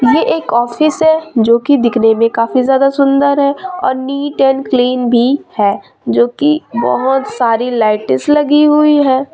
ये एक ऑफिस है जो की दिखने में काफी ज्यादा सुंदर है और नीट एंड क्लीन भी है जो की बहोत सारी लाइतीस लगी हुई है।